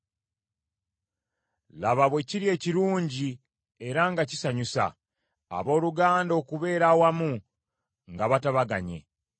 Laba bwe kiri ekirungi era nga kisanyusa, abooluganda okubeera awamu nga batabaganye.